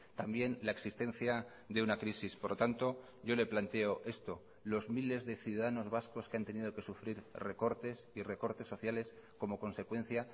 también la existencia de una crisis por lo tanto yo le planteo esto los miles de ciudadanos vascos que han tenido que sufrir recortes y recortes sociales como consecuencia